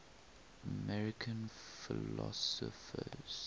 american philosophers